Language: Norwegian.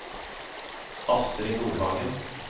Astrid Nordhagen